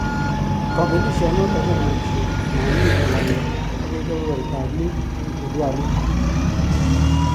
Kabelisio noto komuchi Man U kolanda akoi kobeberta ab muut en jedwalit .